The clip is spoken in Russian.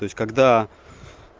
то есть когда